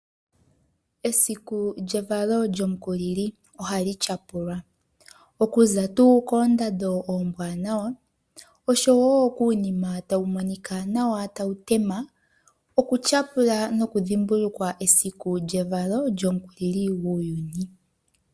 Esiku lyevalo lyOmukulili, ohali tya pulwa. Okuza tuu koondando ombwaanawa, osho woo kuunima tawu monika nawa, tawu tema ,oku tya pula noku dhimbulukwa evalo lyOmukulili guuyuni.